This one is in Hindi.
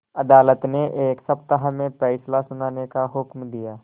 अदालत ने एक सप्ताह में फैसला सुनाने का हुक्म दिया